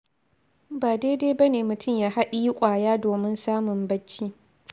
Ba daidai ba ne mutum ya haɗiyi ƙwaya domin samun bacci.